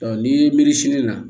ni miiri sini na